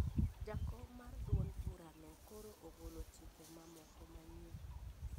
Jakom mar duond bura no koro ogolo chike ma moko manyien